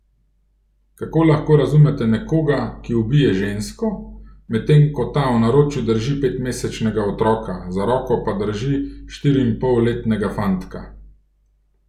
Kako lahko razumete nekoga, ki ubije žensko, medtem ko ta v naročju drži petmesečnega otroka, za roko pa drži štiriinpolletnega fantka.